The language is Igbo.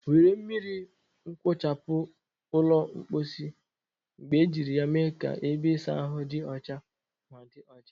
Were mmiri nwuchapu ụlọ mposi mgbe ejiri ya mee ka ebe ịsa ahụ dị ọcha ma dị ọcha.